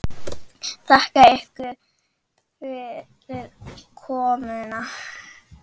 Þakka ykkur fyrir komuna.